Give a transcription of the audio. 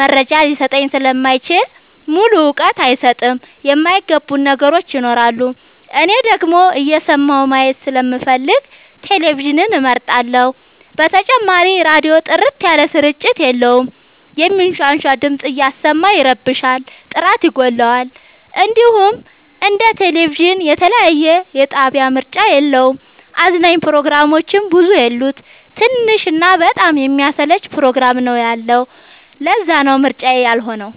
መረጃ ሊሰጠኝ ስለማይችል ሙሉ እውቀት አይሰጥም የማይ ገቡን ነገሮች ይኖራሉ። እኔ ደግሞ እየሰማሁ ማየት ስለምፈልግ ቴሌቪዥንን እመርጣለሁ። በተጨማሪም ራዲዮ ጥርት ያለ ስርጭት የለውም የሚንሻሻ ድምፅ እያሰማ ይረብሻል ጥራት ይጎለዋል። እንዲሁም እንደ ቴሌቪዥን የተለያየ የጣቢያ ምርጫ የለውም። አዝናኝ ፕሮግራሞችም ብዙ የሉት ትንሽ እና በጣም የሚያሰለች ፕሮግራም ነው ያለው ለዛነው ምርጫዬ ያልሆ ነው።